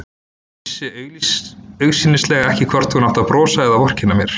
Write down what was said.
Vissi augsýnilega ekki hvort hún átti að brosa eða vorkenna mér.